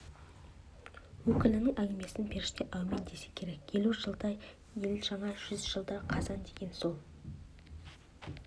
өкілінің әңгімесін періште әумин десе керек елу жылда ел жаңа жүз жылда қазан деген сол